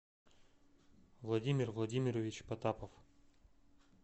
владимир владимирович потапов